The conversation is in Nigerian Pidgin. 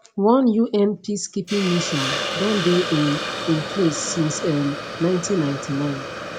one un peacekeeping mission don dey in in place since um 1999